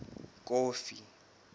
kofi